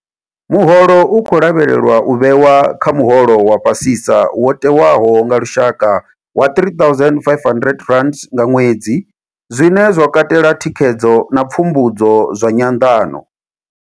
Muholo u khou lavhelelwa u vhewa kha muholo wa fhasisa wo tewaho wa lushaka wa R3 500 nga ṅwedzi, zwine zwa katela thikhedzo na pfumbudzo zwa nyanḓano.